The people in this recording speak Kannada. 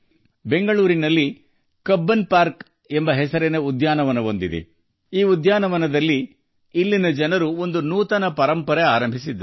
ಬೆಂಗಳೂರಿನಲ್ಲಿ ಉದ್ಯಾನವನವಿದೆ - ಕಬ್ಬನ್ ಪಾರ್ಕ್ ಈ ಪಾರ್ಕ್ ನಲ್ಲಿ ಅಲ್ಲಿನ ಜನರು ಹೊಸ ಸತ್ಸಪ್ರದಾಯಕ್ಕೆ ನಾಂದಿ ಹಾಡಿದ್ದಾರೆ